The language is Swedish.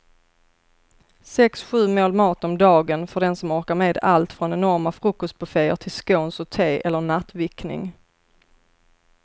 Sex, sju mål mat om dagen för den som orkar med allt från enorma frukostbufféer till scones och te eller nattvickning.